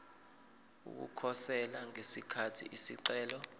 ukukhosela ngesikhathi isicelo